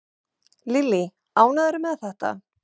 Lillý: Ánægður með þetta?